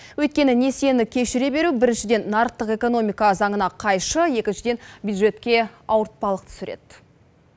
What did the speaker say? өйткені несиені кешіре беру біріншіден нарықтық экономика заңына қайшы екіншіден бюджетке ауыртпалық түсіреді